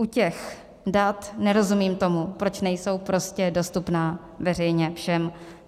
U těch dat nerozumím tomu, proč nejsou prostě dostupná veřejně všem.